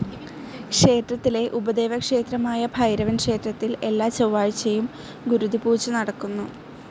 ക്ഷേത്രത്തിലെ ഉപദേവക്ഷേത്രംആയ ഭൈരവൻ ക്ഷേത്രത്തിൽ എല്ലാ ചൊവാഴ്ചയും ഗുരുതി പൂജ നടക്കുന്നു.